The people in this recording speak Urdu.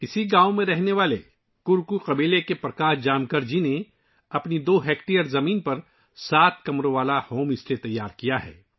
اسی گاؤں میں رہنے والے کورکو قبیلے کے پرکاش جمکر جی نے اپنی دو ہیکٹر اراضی پر سات کمروں پر مشتمل ہوم اسٹے تیار کیا ہے